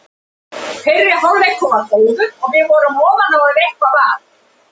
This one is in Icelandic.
Fyrri hálfleikur var góður og við vorum ofan á ef eitthvað var.